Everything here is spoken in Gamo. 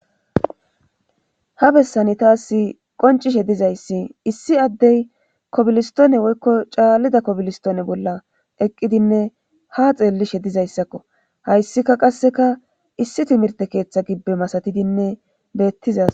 Ha bessani taas qoncishe dizayssi issi addey kobilistoone woykko caallida kobilistoone bolla eqqidinne ha xeellishe dizayssakko hayssika qasseka issi timirte keeththa gibbe masatidinne beettiza